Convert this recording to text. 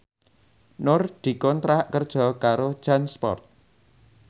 Nur dikontrak kerja karo Jansport